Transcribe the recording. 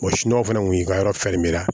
fana kun y'i ka yɔrɔ fɛrɛ